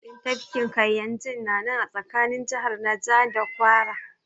Pak ɗin tafkin Kayinji ya na nan tsakanin jihar Naja da Kwara